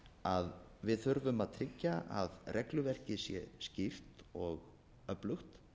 að við þurfum að hyggja að regluverkið sé skýrt og öflugt